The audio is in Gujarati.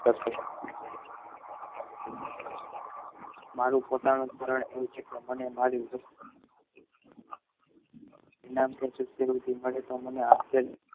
મારી પોતાના મરડ એવું છે કે અમને મારી તમને આ તે